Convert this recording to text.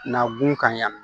Na b'u kan yan nɔ